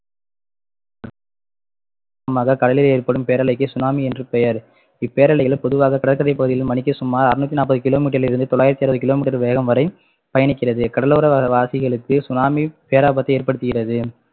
கடலில் ஏற்படும் பேரலைக்கு சுனாமி என்று பெயர் இப்பேரலைகள் பொதுவாக கடற்கரை பகுதியில் மணிக்கு சுமார் அறுநூத்தி நாப்பது kilometer லிருந்து தொள்ளாயிரத்து அறுபது kilometer வேகம் வரை பயணிக்கிறது கடலோரவா~ வாசிகளுக்கு சுனாமி பேராபத்தை ஏற்படுத்துகிறது